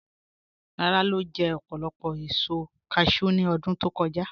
Làrà lo jẹ̀ òpólopò èṣò càshẹw ní ọdún tó kọ̀jà